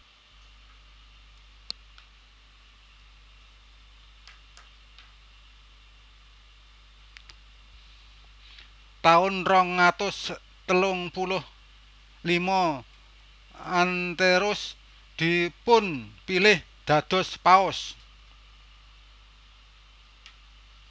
Taun rong atus telung puluh lima Anterus dipunpilih dados Paus